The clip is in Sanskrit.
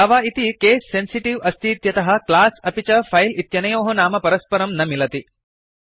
जावा इति केस् सेन्सिटीव् अस्तीत्यतः क्लास् अपि च फैल् इत्यनयोः नाम परस्परं न मिलति